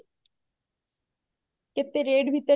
କେତେ rate ଭିତରେ